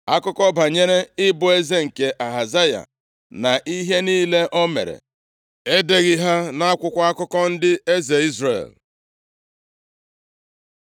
Akụkọ banyere ịbụ eze nke Ahazaya, na ihe niile o mere, e deghị ha nʼakwụkwọ akụkọ ndị eze Izrel?